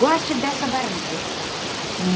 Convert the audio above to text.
Goste dessa barriga.